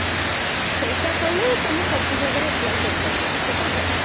ସେଇଟା କଲେ ତମେ ସବୁ ଜାଗାରେ apply କରିପାରିବ ସେଇଟା ଭଲ